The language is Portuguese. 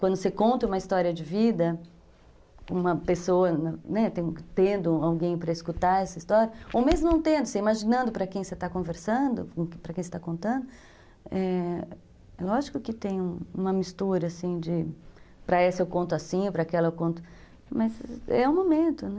Quando você conta uma história de vida, uma pessoa tendo alguém para escutar essa história, ou mesmo não tendo, imaginando para quem você está conversando, para quem você está contando, é lógico que tem uma mistura, assim, de para essa eu conto assim, para aquela eu conto... Mas é o momento, né?